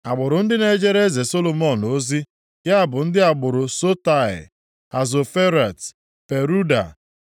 Agbụrụ ndị na-ejere eze Solomọn ozi, ya bụ ndị agbụrụ Sotai, Hasoferet, Peruda,